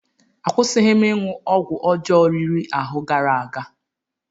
Akwụsịghị m ịṅụ ọgwụ ọjọọ riri ahụ gara aga.